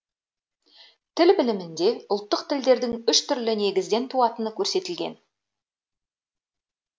тіл білімінде ұлттық тілдердің үш түрлі негізден туатыны көрсетілген